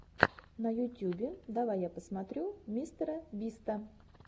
на ютюбе давай я посмотрю мистера биста